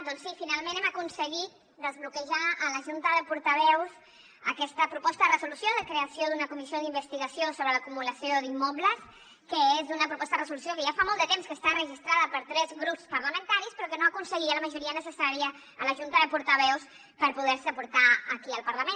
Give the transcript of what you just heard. doncs sí finalment hem aconseguit desbloquejar a la junta de portaveus aquesta proposta de resolució de creació d’una comissió d’investigació sobre l’acumulació d’immobles que és una proposta de resolució que ja fa molt de temps que està registrada per tres grups parlamentaris però que no aconseguia la majoria necessària a la junta de portaveus per poder se portar aquí al parlament